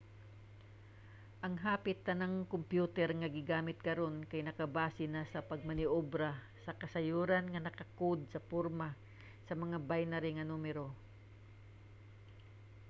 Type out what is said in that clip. ang hapit tanang kompyuter nga gigamit karon kay nakabase na sa pagmaniobra sa kasayuran nga naka-code sa porma sa mga binary nga numero